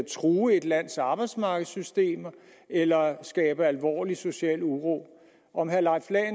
true et lands arbejdsmarkedssystem eller skabe alvorlig social uro